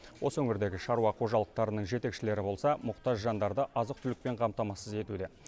осы өңірдегі шаруа қожалықтарының жетекшілері болса мұқтаж жандарды азық түлікпен қамтамасыз етуде